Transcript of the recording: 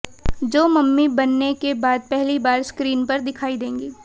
जो मम्मी बनने के बाद पहली बार स्क्रीन पर दिखायी देंगी